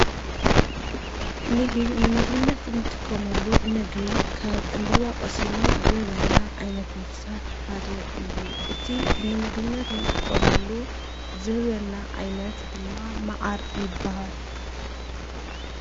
ንሂብ ንምግብነት እንጥቆመሉ ምግቢ ካብ ዕምበባ ቐሲሙ ዝህበና ኣይነት ነፍሳት ሓደ እዩ እቲ ንምግብነት እንጥቆመሉ ዝህበና ኣይነት ድማ መዓር ይበሃል።